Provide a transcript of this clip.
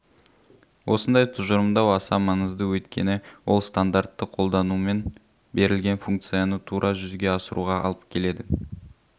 осындай тұжырымдау аса маңызды өйткені ол стандартты қолданумен берілген функцияны тура жүзеге асыруға алып келеді